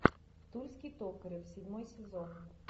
тульский токарев седьмой сезон